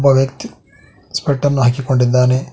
ಒಬ್ಬ ವ್ಯಕ್ತಿ ಸ್ಪೆಕ್ಟ್ ಅನ್ನು ಹಾಕಿಕೊಂಡಿದ್ದಾನೆ.